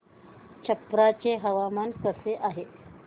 छप्रा चे हवामान कसे आहे